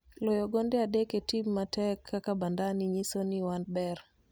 Loyo gonde adek e tim matek kaka Bandari nyiso ni waber